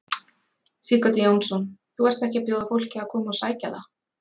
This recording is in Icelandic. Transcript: Sighvatur Jónsson: Þú ert ekki að bjóða fólki að koma og sækja það?